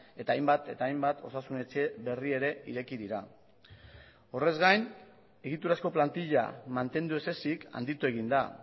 eta hainbat eta hainbat osasun etxe berri ere ireki dira horrez gain egiturazko plantilla mantendu ez ezik handitu egin da